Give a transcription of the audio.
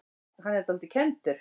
Hann er dálítið kenndur.